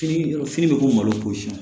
Fini fini bɛ k'o malo siyɛn